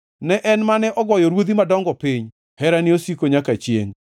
ne En mane ogoyo ruodhi madongo piny, Herane osiko nyaka chiengʼ.